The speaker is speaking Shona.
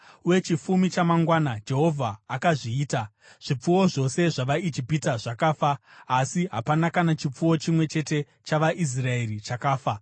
Uye chifumi chamangwana Jehovha akazviita: Zvipfuwo zvose zvavaIjipita zvakafa, asi hapana kana chipfuwo chimwe chete chavaIsraeri chakafa.